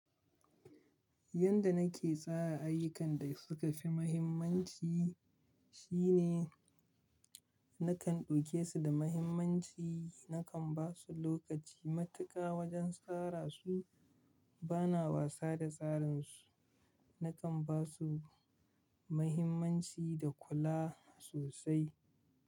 Yanda nake tsara ayukkan da suka fi muhimmanci shine nakan ɗauke su da muhimmanci, nakan ba su lokaci matuƙa wajen tsara su, bana wasa da tsarinsu, nakan ba su muhimmanci da kula sosai.